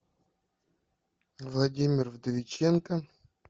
владимир вдовиченков